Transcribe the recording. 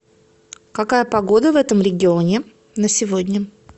какая погода в этом регионе на сегодня